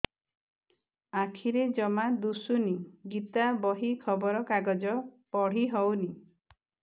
ଆଖିରେ ଜମା ଦୁଶୁନି ଗୀତା ବହି ଖବର କାଗଜ ପଢି ହଉନି